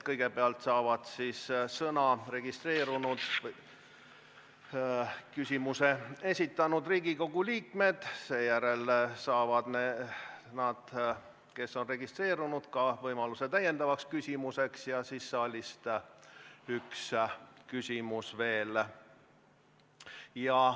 Kõigepealt saavad sõna küsimuse esitamiseks registreerunud Riigikogu liikmed, seejärel saavad need, kes on registreerunud, ka võimaluse esitada lisaküsimus ja siis saalist üks küsimus veel.